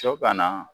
Sɔ banna